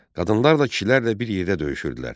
Qadınlar da kişilərlə bir yerdə döyüşürdülər.